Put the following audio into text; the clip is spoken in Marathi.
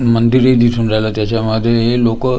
मंदिरही दिसून राहिलं त्याच्यामध्ये हे लोकं ए--